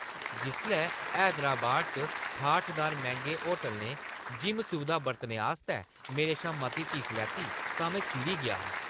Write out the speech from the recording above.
जिसलै हैदराबाद च ठाठदार मैंह्‌गे होटलै ने जिम सुविधां बरतने आस्तै मेरे शा मती फीस लैती तां में चिड़ी गेआ हा।